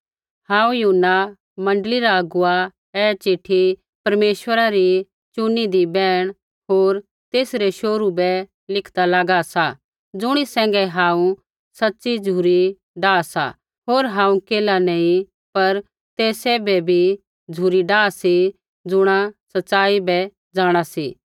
हांऊँ यूहन्ना मण्डली रा अगुवा ऐ चिट्ठी परमेश्वरा री चुनीदी बैहण होर तेसरै शोहरू बै लिखदा लागा सा ज़ुणी सैंघै हांऊँ सच़ी झ़ुरी डाह सा होर हांऊँ केल्हा नैंई पर ते सैभे भी झ़ुरी डाह सी ज़ुणा सच़ाई बै जाँणा सी